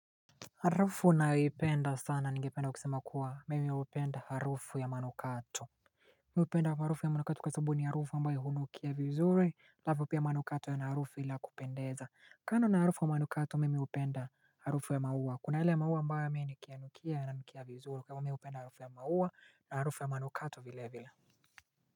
Harufu nayoipenda sana ningependa kusema kuwa mimi hupenda harufu ya manukato Mimi hupenda harufu ya manukato kwa sababu ni harufu ambayo hunukia vizuri alafu pia manukato yana harufu ile ya kupendeza kando na harufu ya manukato mimi hupenda harufu ya maua kuna ile maua ambayo mimi nikiyanukia yananukia vizuri kwa hivyo mimi hupenda harufu ya maua na harufu ya manukato vilevile.